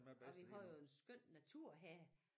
Og vi har jo en skøn natur her